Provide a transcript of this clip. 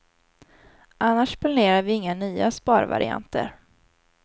Annars planerar vi inga nya sparvarianter.